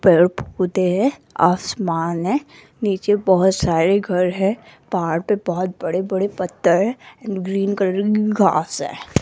पेड़ पौधे है आसमान है नीचे बहुत सारे घर हैं पहाड़ पे बहोत बड़े बड़े पत्थर एंड ग्रीन कलर की घास है।